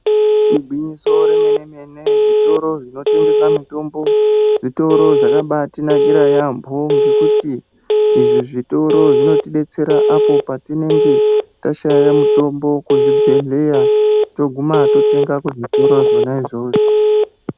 Igwinyiso remene-mene, zvitoro zvinotengesa mitombo, zvitoro zvakambatinakira yaambo, ngekuti izvi zvitoro zvinotidetsera apo patinenge tashaya mutombo kuzvibhedhleya toguma totenga kuzvitoro zvona izvozvo.